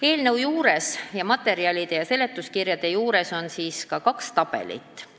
Eelnõu materjalide ja seletuskirja juures on kaks tabelit.